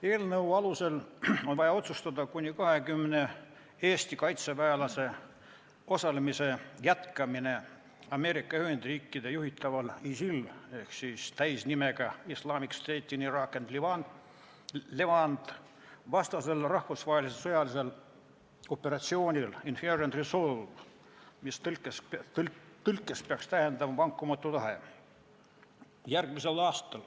Eelnõu alusel on vaja otsustada kuni 20 kaitseväelase järgmisel aastal osalemise jätkamine Ameerika Ühendriikide juhitaval ISIL-i vastasel rahvusvahelisel sõjalisel operatsioonil Inherent Resolve, mis tõlkes peaks tähendama "vankumatu tahe".